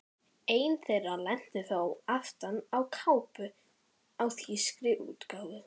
Ein þeirra lenti þó aftan á kápu á þýskri útgáfu.